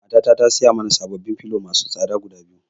Mata na tasiyo mana sababbin filo masu tsada guda biyu.